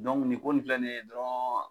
ni ko nin filɛ ni ye dɔrɔn